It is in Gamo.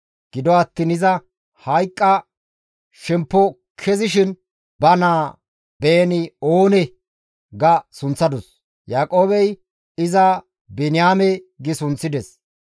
Gido attiin iza hayqqa shemppo kezishin ba naa Beeni-Oone ga sunththadus; Yaaqoobey iza Biniyaame gi sunththides.